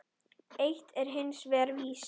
Eitt er hins vegar víst.